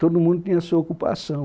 Todo mundo tinha a sua ocupação.